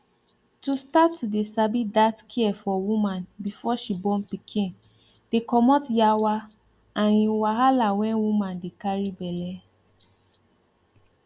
to start to dey sabi that care for woman before she born pikin dey comot yawa and[um]wahala when woman dey carry belle